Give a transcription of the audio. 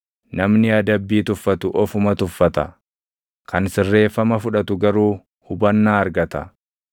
Namni adabbii tuffatu ofuma tuffata; kan sirreeffama fudhatu garuu hubannaa argata.